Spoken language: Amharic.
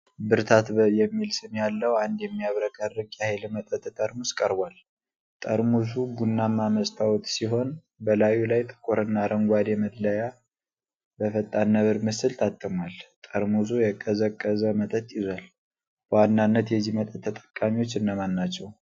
ብርታት የሚል ስም ያለው አንድ የሚያብረቀርቅ የኃይል መጠጥ ጠርሙስ ቀርቧል። ጠርሙሱ ቡናማ መስታወት ሲሆን በላዩ ላይ ጥቁር እና አረንጓዴ መለያ በፈጣን ነብር ምስል ታትሟል። ጠርሙሱ የቀዘቀዘ መጠጥ ይዟል። በዋናነት የዚህ መጠጥ ተጠቃሚዎች እነማን ናቸው?